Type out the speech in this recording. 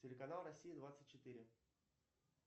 телеканал россия двадцать четыре